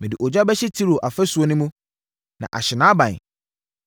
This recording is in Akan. Mede ogya bɛto Tiro afasuo no mu, na ahye nʼaban.”